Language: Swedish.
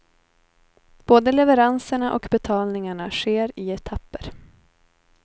Både leveranserna och betalningarna sker i etapper.